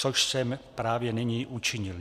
- Což jsem právě nyní učinil.